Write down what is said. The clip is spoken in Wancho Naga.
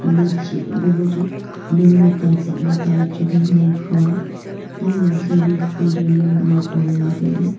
ikha ma chih habo ma chu nong ma ta chak ta ley chu maipua nen long pa sa phool jawnu maipo ngan ley tailey.